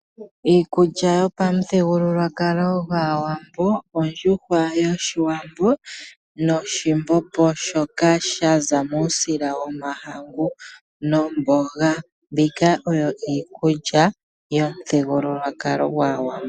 Iikulya yopamuthigululwakalo gwaawambo: ondjuhwa yoshiwambo noshimbombo shoka shaza muusila womahangu nomboga. Mbika oyo iikulya yomuthigululwakalo gwaawambo.